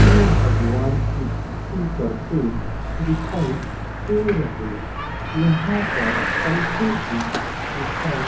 में भगवान की भक्ति करते दिखाई दे रहे यहां पर पंखे भी दिखाई --